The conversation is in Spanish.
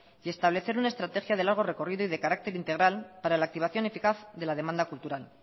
y establecer una estrategia de largo recorrido y de carácter integral para la activación eficaz de la demanda cultural